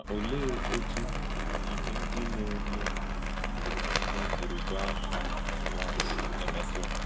Ma ọ̀lee otú íhè ndí na-emè ndí na-emè gbùrùgbà ha n’ụ̀wà sị emètù ha?